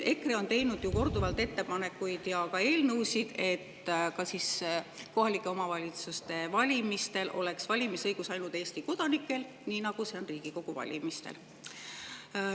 EKRE on teinud korduvalt ettepanekuid ja ka eelnõusid, et kohalike omavalitsuste valimistel oleks valimisõigus ainult Eesti kodanikel, nii nagu see on Riigikogu valimistel.